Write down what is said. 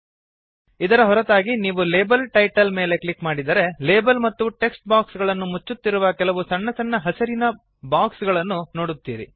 ಇದರ ಹೊರತಾಗಿ ನೀವು ಲೇಬಲ್ ಟೈಟಲ್ ಮೇಲೆ ಕ್ಲಿಕ್ ಮಾಡಿದರೆ ಲೇಬಲ್ ಮತ್ತು ಟೆಕ್ಸ್ಟ್ ಬಾಕ್ಸ್ ಗಳನ್ನು ಮುಚ್ಚುತ್ತಿರುವ ಕೆಲವು ಸಣ್ಣ ಸಣ್ಣ ಹಸಿರಿನ ಬಾಕ್ಸ್ ಗಳನ್ನು ನೋಡುತ್ತೀರಿ